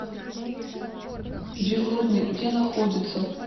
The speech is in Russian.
дежурный где находится